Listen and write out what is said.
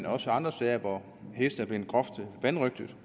også andre sager hvor heste er blevet groft vanrøgtet